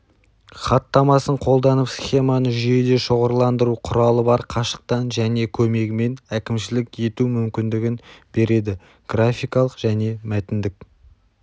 хаттамасын қолданып схеманы жүйеде шоғырландыру құралы бар қашықтан ні және көмегімен әкімшілік ету мүмкіндігін бередіграфикалық және мәтіндік